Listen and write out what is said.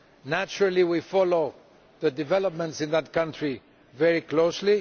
Naturally, we follow the developments in that country very closely.